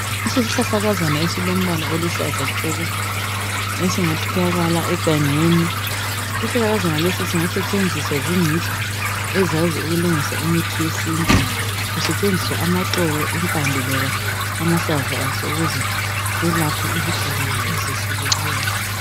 Isihlahlakazana esilombala oluhlaza tshoko, esingatholakala egangeni. Isihlahlakazana lesi singasetshenziswa zingcitshi ezazi ukulungisa imithi yesintu kusetshenziswa amaxolo, impande loba amahlamvu aso ukuze selaphe izigulane ezehlukeneyo.